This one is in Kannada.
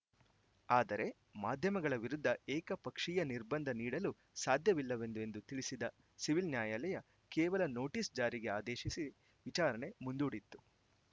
ಆದರೆ ಮಾಧ್ಯಮಗಳ ವಿರುದ್ಧ ಏಕಪಕ್ಷೀಯ ನಿರ್ಬಂಧ ನೀಡಲು ಸಾಧ್ಯವಿಲ್ಲವೆಂದು ಎಂದು ತಿಳಿಸಿದ್ದ ಸಿವಿಲ್‌ ನ್ಯಾಯಾಲಯ ಕೇವಲ ನೋಟಿಸ್‌ ಜಾರಿಗೆ ಆದೇಶಿಸಿ ವಿಚಾರಣೆ ಮುಂದೂಡಿತ್ತು